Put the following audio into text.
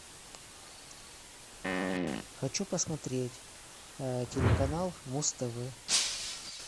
хочу посмотреть телеканал муз тв